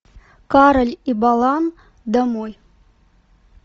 кароль и балан домой